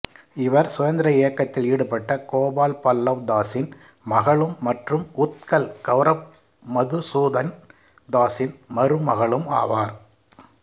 இவர் சுதந்திர இயக்கத்தில் ஈடுபட்ட கோபால் பல்லவ் தாசின் மகளும் மற்றும் உத்கல் கௌரப் மதுசூதன் தாசின் மருமகளும் ஆவார்